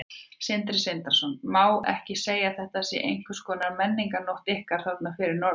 Sindri Sindrason: Má ekki segja að þetta sé eins konar menningarnótt ykkar þarna fyrir norðan?